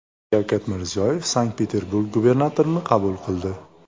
Shavkat Mirziyoyev Sankt-Peterburg gubernatorini qabul qildi.